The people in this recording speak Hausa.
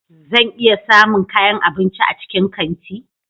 Zan iya samun kayan abinci a cikin kanti?